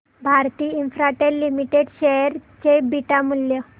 Bharti Infratel Limited share चे beta मूल्य